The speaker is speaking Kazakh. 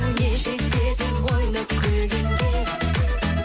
не жетеді ойнап күлгенге